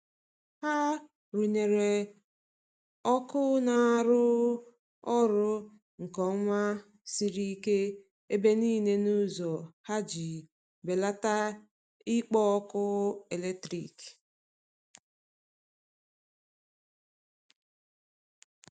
ha runyere ọkụ na arụ orụ nke oma siri ike ebe nile n'ulo ha iji belata ikpo ọkụ eletrikị